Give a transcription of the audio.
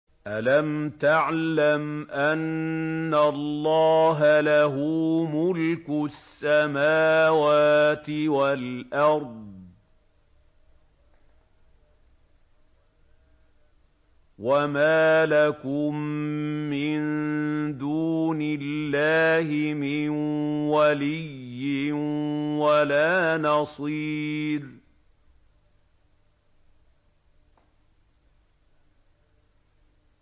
أَلَمْ تَعْلَمْ أَنَّ اللَّهَ لَهُ مُلْكُ السَّمَاوَاتِ وَالْأَرْضِ ۗ وَمَا لَكُم مِّن دُونِ اللَّهِ مِن وَلِيٍّ وَلَا نَصِيرٍ